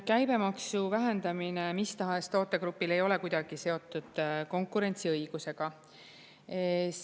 Käibemaksu vähendamine mis tahes tootegrupile ei ole kuidagi seotud konkurentsiõigusega.